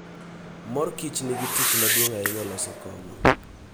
Mor Kichnigi tich maduong' ahinya e loso kong'o.